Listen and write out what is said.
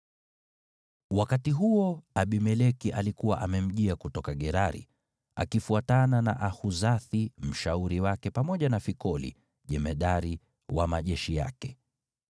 Wakati huo, Abimeleki alikuwa amemjia kutoka Gerari, akifuatana na Ahuzathi mshauri wake, pamoja na Fikoli jemadari wa majeshi yake.